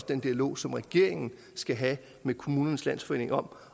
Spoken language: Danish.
den dialog som regeringen skal have med kommunernes landsforening om